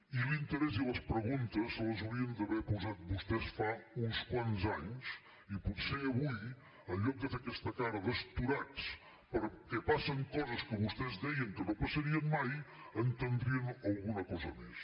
i l’interès i les preguntes les haurien d’haver posat vostès fa uns quants anys i potser avui en lloc de fer aquesta cara d’astorats perquè passen coses que vostès deien que no passarien mai entendrien alguna cosa més